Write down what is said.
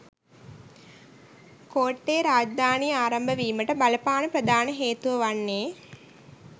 කෝට්ටේ රාජධානිය ආරම්භ වීමට බලපාන ප්‍රධාන හේතුව වන්නේ